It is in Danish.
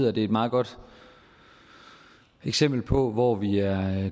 er det et meget godt eksempel på hvor vi er